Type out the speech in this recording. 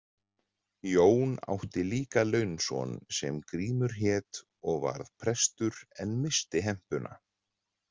Jón átti líka launson sem Grímur hét og varð prestur en missti hempuna.